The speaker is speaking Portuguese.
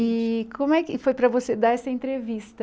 E como é que foi para você dar essa entrevista?